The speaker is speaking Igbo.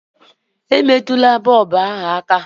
Emetụla bọlbụ ahụ aka!